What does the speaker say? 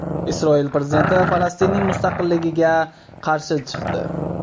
Isroil prezidenti Falastinning mustaqilligiga qarshi chiqdi.